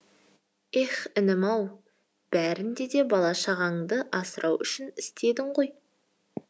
еһ інім ау бәрінде де бала шағаңды асырау үшін істедің ғой